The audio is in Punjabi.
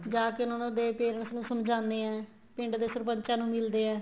ਜਾਕੇ ਉਹਨਾ ਨੂੰ ਦੇਖਕੇ ਉਸ ਨੂੰ ਸਮਝਾਦੇ ਏ ਪਿੰਡ ਦੇ ਸਰਪੰਚਾਂ ਨੂੰ ਮਿਲਦੇ ਏ